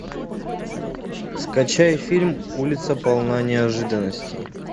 скачай фильм улица полна неожиданностей